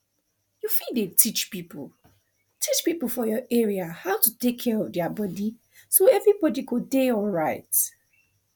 you fit dey teach people teach people for your area how to take care of their body so everybody go dey alright